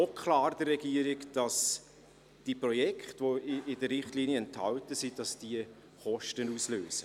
Es ist der Regierung auch klar, dass die Projekte, die in den Richtlinien enthalten sind, Kosten auslösen.